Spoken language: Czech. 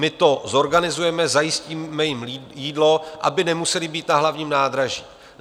My to zorganizujeme, zajistíme jim jídlo, aby nemuseli být na hlavním nádraží.